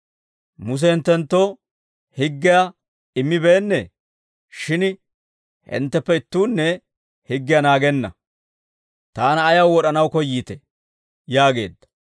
Muse hinttenttoo higgiyaa immibeennee? Shin hintteppe ittuunne higgiyaa naagenna. Taana ayaw wod'anaw koyyiitee?» yaageedda.